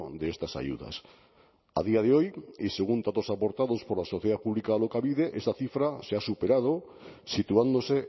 de estas ayudas a día de hoy y según datos aportados por la sociedad pública alokabide esta cifra se ha superado situándose